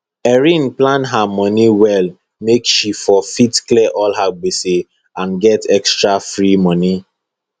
erin plan her moni well make she for fit clear all her gbese and get extra free moni